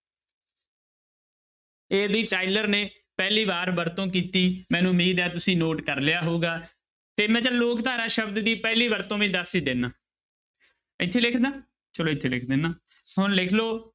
AB Tylor ਨੇ ਪਹਿਲੀ ਵਾਰ ਵਰਤੋਂ ਕੀਤੀ ਮੈਨੂੰ ਉਮੀਦ ਹੈ ਤੁਸੀਂ note ਕਰ ਲਿਆ ਹੋਊਗਾ ਤੇ ਮੈਂ ਚੱਲ ਲੋਕ ਧਾਰਾ ਸ਼ਬਦ ਦੀ ਪਹਿਲੀ ਵਰਤੋਂ ਵੀ ਦੱਸ ਹੀ ਦਿਨਾ ਇੱਥੇ ਲਿਖ ਦੇਵਾਂ ਚਲੋ ਇੱਥੇ ਲਿਖ ਦਿਨਾ, ਹੁਣ ਲਿਖ ਲਓ